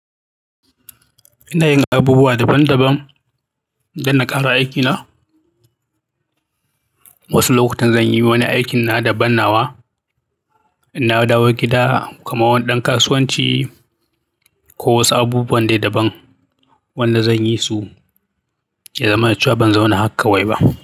Ina yin abubuwa daban daban don na ƙara aikina. Wasu lokutan zan yi wani aikin na daban nawa. Inawo dawo gida kaman wani ɗan kasuwanci ko wasu abubuwan dai daban. Wanda zan yi su, ya zamana cewa ban zauna hak kawai ba.